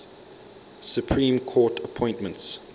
supreme court appointments